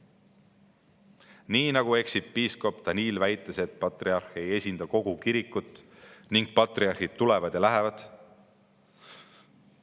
Nii nagu eksib piiskop Daniel väites, et patriarh ei esinda kogu kirikut ning patriarhid tulevad ja lähevad.